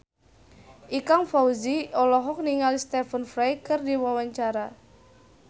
Ikang Fawzi olohok ningali Stephen Fry keur diwawancara